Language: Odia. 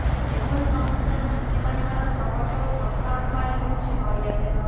ଏଭଳି ସମସ୍ୟାରୁ ମୁକ୍ତି ପାଇବାର ସହଜ ଓ ଶସ୍ତା ଉପାୟ ହେଉଛି ନଡିଆ ତେଲ